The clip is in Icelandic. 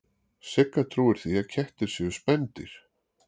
Sigga trúir því að kettir séu spendýr.